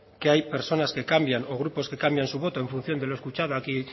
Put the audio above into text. que hay personas que cambian o grupos que cambian su voto en función de lo escuchado aquí